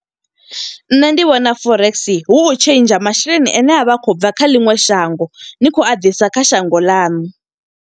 Nṋe ndi vhona Forex hu u tshentsha masheleni ane a vha a khou bva kha ḽiṅwe shango. Ni khou a ḓisa kha shango ḽanu.